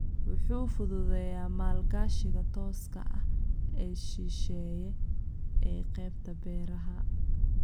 Wuxuu fududeeyaa maalgashiga tooska ah ee shisheeye ee qaybta beeraha.